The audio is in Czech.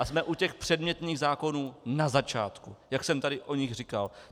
A jsme u těch předmětných zákonů na začátku, jak jsem tady o nich říkal.